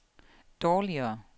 dårligere